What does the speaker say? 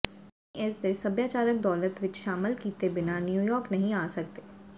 ਤੁਸੀਂ ਇਸ ਦੇ ਸੱਭਿਆਚਾਰਕ ਦੌਲਤ ਵਿੱਚ ਸ਼ਾਮਲ ਕੀਤੇ ਬਿਨਾਂ ਨਿਊਯਾਰਕ ਨਹੀਂ ਆ ਸਕਦੇ